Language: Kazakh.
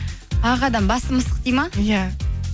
ақ адам басы мысық ме иә